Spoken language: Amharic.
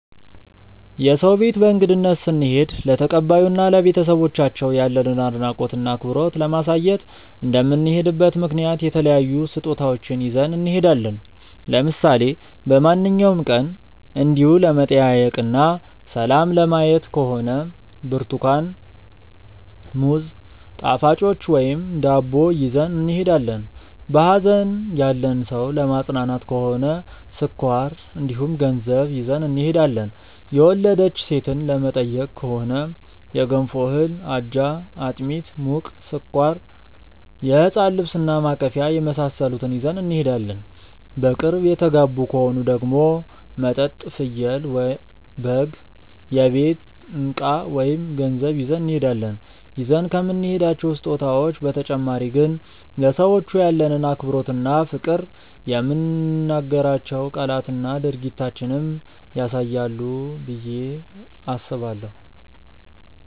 የሰው ቤት በእንግድነት ስንሄድ ለተቀባዩ እና ለቤተሰቦቻቸው ያለንን አድናቆት እና አክብሮት ለማሳየት እንደምንሄድበት ምክንያት የተለያዩ ስጦታዎችን ይዘን እንሄዳለን። ለምሳሌ በማንኛውም ቀን እንዲው ለመጠያየቅ እና ሰላም ለማየት ከሆነ ብርትኳን፣ ሙዝ፣ ጣፋጮች ወይም ዳቦ ይዘን እንሄዳለን። በሀዘን ያለን ሰው ለማፅናናት ከሆነ ስኳር እንዲሁም ገንዘብ ይዘን እንሄዳለን። የወለደች ሴትን ለመጠየቅ ከሆነ የገንፎ እህል፣ አጃ፣ አጥሚት (ሙቅ)፣ስኳር፣ የህፃን ልብስ እና ማቀፊያ የመሳሰሉትን ይዘን እንሄዳለን። በቅርብ የተጋቡ ከሆኑ ደግሞ መጠጥ፣ ፍየል/በግ፣ የቤት እቃ ወይም ገንዘብ ይዘን እንሄዳለን። ይዘን ከምንሄዳቸው ስጦታዎች በተጨማሪ ግን ለሰዎቹ ያለንን አክብሮት እና ፍቅር የምንናገራቸው ቃላትና ድርጊታችንም ያሳያሉ ብዬ አስባለሁ።